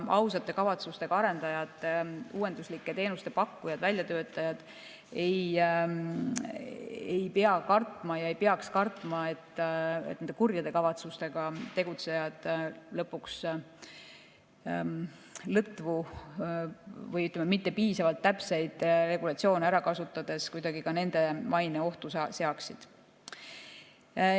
Ausate kavatsustega arendajad, uuenduslike teenuste pakkujad, väljatöötajad ei peaks kartma, et kurjade kavatsustega tegutsejad lõpuks lõtvu või mitte piisavalt täpseid regulatsioone ära kasutades kuidagi ka nende maine ohtu seaksid.